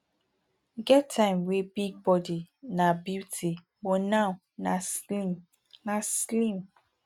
e get time wey big body na beauty but now nah slim nah slim